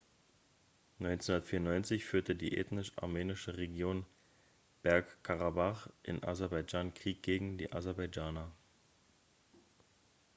1994 führte die ethnisch armenische region bergkarabach in aserbaidschan krieg gegen die aserbaidschaner